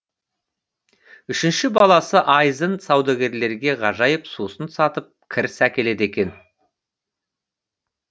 үшінші баласы айзын саудагерлерге ғажайып сусын сатып кіріс әкеледі екен